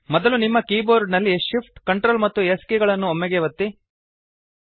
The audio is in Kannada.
ಮೊದಲು ನಿಮ್ಮ ಕೀ ಬೋರ್ಡ್ ನಲ್ಲಿ Shift Ctrl ಮತ್ತು S ಕೀಗಳನ್ನು ಒಮ್ಮೆಗೇ ಒತ್ತಿ